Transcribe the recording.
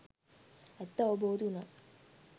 ඇත්ත අවබෝධ වුනා.